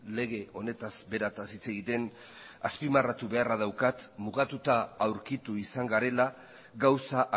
lege honetaz berataz hitz egiten azpimarratu beharra daukat mugatuta aurkitu izan garela gauza